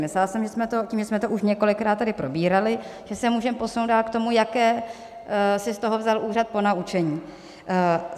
Myslela jsem, že tím, že jsme to už několikrát tady probírali, že se můžeme posunout dál k tomu, jaké si z toho vzal úřad ponaučení.